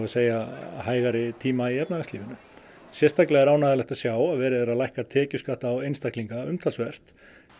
segja hægari tíma í efnahagslífinu sérstaklega er ánægjulegt að sjá að verið er að lækka tekjuskatt á einstaklinga umtalsvert